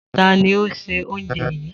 Ta ni ó se oúnjẹ yìí?